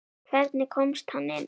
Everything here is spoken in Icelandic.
Hvernig komst hann inn?